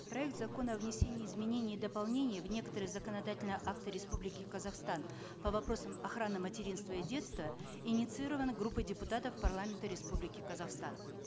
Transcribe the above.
проект закона о внесении изменений и дополнений в некоторые законодательные акты республики казахстан по вопросам охраны материнства и детства инициирован группой депутатов парламента республики казахстан